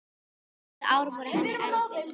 Síðustu ár voru honum erfið.